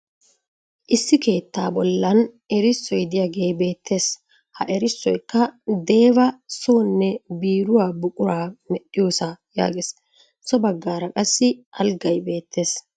Issi keettaa bollan erissoy diyagee beettes. Ha erissoyikka " deva sonne biiruwaa buquraa meshdhiyosaa" yaages. So baggaara qassi alggay beettes.